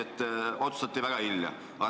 Olgugi et otsustati väga hilja.